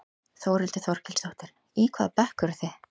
Þórhildur Þorkelsdóttir: Í hvaða bekk eruð þið?